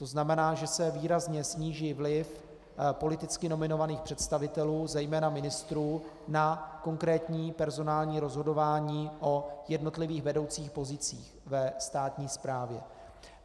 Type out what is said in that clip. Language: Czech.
To znamená, že se výrazně sníží vliv politicky nominovaných představitelů, zejména ministrů, na konkrétní personální rozhodování o jednotlivých vedoucích pozicích ve státní správě.